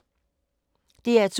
DR2